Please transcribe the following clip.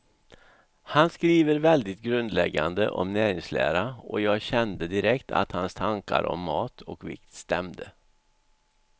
Han skriver väldigt grundläggande om näringslära, och jag kände direkt att hans tankar om mat och vikt stämde.